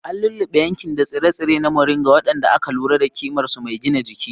An lulluɓe yankin da tsire-tsire na Moringa, waɗanda aka lura da ƙimar su mai gina jiki.